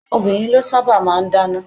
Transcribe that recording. Àwọn obìnrin lọ sábà máa ń dáná.